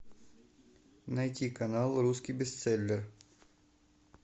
найти канал русский бестселлер